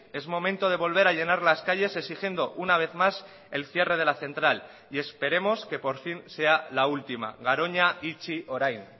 es momento de volver a llenar las calles exigiendo una vez más el cierre de la central y esperemos que por fin sea la última garoña itxi orain